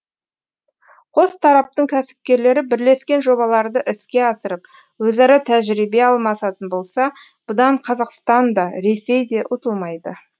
қос тараптың кәсіпкерлері бірлескен жобаларды іске асырып өзара тәжірибе алмасатын болса бұдан қазақстан да ресей де ұтылмайды